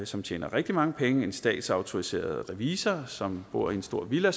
som tjener rigtig mange penge en statsautoriseret revisor som bor i en stor villa